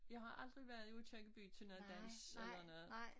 Jeg har aldrig været i Aakirkeby til noget dans eller noget